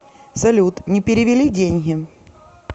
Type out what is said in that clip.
салют не перевели деньги